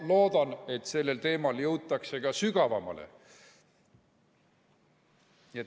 Loodan, et sellel teemal jõutakse ka sügavamale.